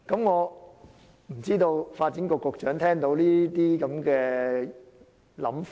我不知道發展局局長對這些言論有何看法？